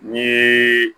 Ni